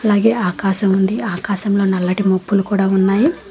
అలాగే ఆకాశం ఉంది ఆకాశంలో నల్లటి మబ్బులు కూడా ఉన్నాయి.